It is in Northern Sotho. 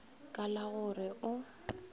ka la go re o